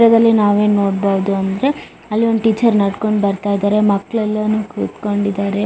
ಚಿತ್ರದಲ್ಲಿ ನಾವು ಏನ್ ನೋಡಬಹುದ್ ಅಂದ್ರೆ ಅಲ್ಲಿ ಒಂದು ಟೀಚರ್ ನಡಕೊಂಡ ಬರತ್ತಾ ಇದಾರೆ ಮಕ್ಕಳೆಲ್ಲಾನು ಕುತ್ತಕೊಂಡಿದ್ದಾರೆ.